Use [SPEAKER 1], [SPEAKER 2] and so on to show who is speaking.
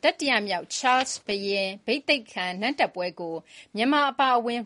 [SPEAKER 1] တတိယမြောက် ချားလ်စ်ဘုရင်နန်းတက်ပွဲကို မြန်မာအပါအဝင်